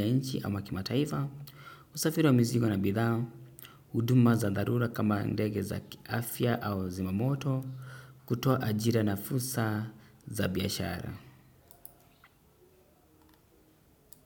ya nchi au kimataifa usafiri wa mizigo na bidhaa. Uduma za darura kama ndege za kiafia au zimamoto kutoa ajira na fursa za biyashara.